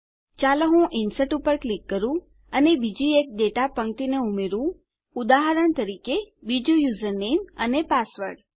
ચાલો હું ઇન્સર્ટ પર ક્લિક કરું અને બીજી એક ડેટા પંક્તિને ઉમેરું ઉદાહરણ તરીકે બીજું યુઝર નેમ અને પાસવર્ડ